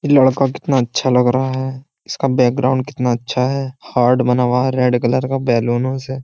ये लड़का कितना अच्छा लग रहा है इसका बैकग्राउंड कितना अच्छा है। हार्ड बना हुआ है रेड कलर का बैलूनों से।